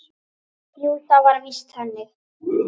Jú, það var víst þannig.